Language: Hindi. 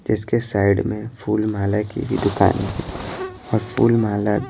इसके साइड में फूलमाला की भी दुकान है और फूलमाला--